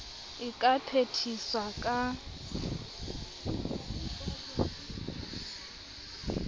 a ka wa phethisa ka